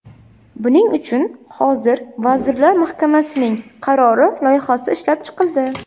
Buning uchun hozir Vazirlar Mahkamasining qarori loyihasi ishlab chiqildi.